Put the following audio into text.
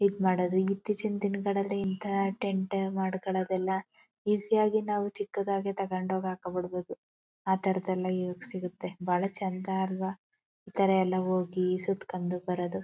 ಇದ್ ಮಾಡೋದು ಇತ್ತೀಚೆಗಿನ ದಿನಗಳಲ್ಲಿ ಇಂತಹ ಟೆಂಟ್ ಮಾಡ್ಕೊಳೋದು ಎಲ್ಲ ಈಜಿ ಯಾಗಿ ನಾವು ಚಿಕ್ಕದಾಗಿ ತಗೊಂಡು ಹೋಗಿ ಹಾಕೊಂಡು ಬಿಡಬೋದು . ಆ ತರದೆಲ್ಲ ಈಗ ಸಿಗುತ್ತೆ ಬಾಳ ಚಂದ ಆಲ್ವಾ ಈ ತರ ಹೋಗಿ ಸುತ್ಕೊಂಡು ಬರೋದು.